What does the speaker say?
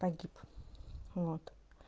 погиб вот